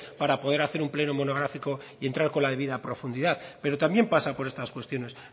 para poder hacer un pleno monográfico y entrar con la debida profundidad pero también pasa por estas cuestiones